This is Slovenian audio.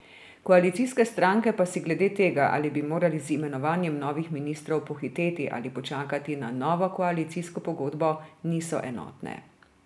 Koalicijske stranke pa si glede tega, ali bi morali z imenovanjem novih ministrov pohiteti ali počakati na novo koalicijsko pogodbo, niso enotne.